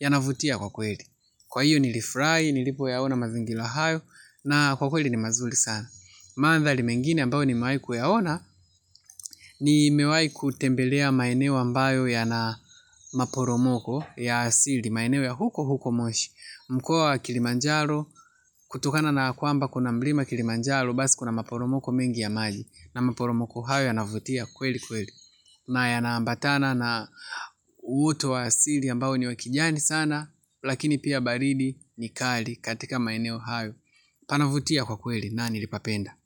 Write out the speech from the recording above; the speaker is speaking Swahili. ya navutia kwa kweli kwa iyo nilifurai, nilipo yaona mazingira hayo na kwa kweli ni mazuli sana maandhali mengine ambayo ni mawai kuyaona ni mewai kutembelea maeneo ambayo ya na maporomoko ya asili maeneo ya huko huko moshi mkoa wa kilimanjaro kutokana na kwamba kuna mlima kilimanjaro basi kuna maporomoko mengi ya maji. Na maporomoko hayo ya navutia kweli kweli. Na yanambatana na uutu wa asili ambao ni wakijani sana. Lakini pia baridi ni kali katika maeneo hayo. Panavutia kwa kweli na nilipapenda.